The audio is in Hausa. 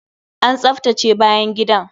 An tsaftace bayan gidan!